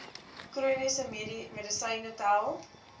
chroniese medisyne tel